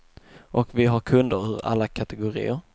Och vi har kunder ur alla kategorier.